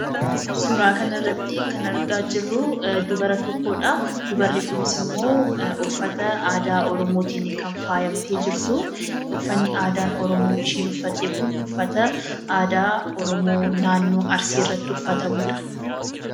Suuraa kanarratti kan argaa jirruu, dubara tokkodha. Dubarri kunisimmoo uffata aadaa oromootiini kan faayamtee jirtuu, uffanni aadaa Oromoo ishiin uffatte kun uffata aadaa Oromoo naannoo arsiitti uffatamudha.